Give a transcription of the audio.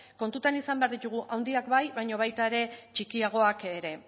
kontuan izan behar ditugu handiak bai baina baita ere txikiagoak ere